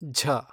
ಝ